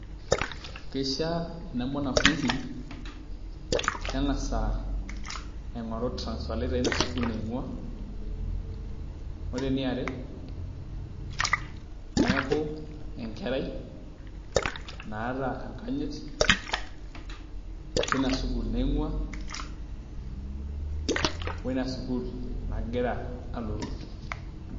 Keishaa ena mwanafunzi nengas ainkoru transfer letter eina sukuul nainkua. Ore eniare neeku enkerai naata enkanyit teina sukuul nainkua oina sukuul nagira alotu.